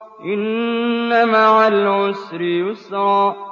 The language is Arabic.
إِنَّ مَعَ الْعُسْرِ يُسْرًا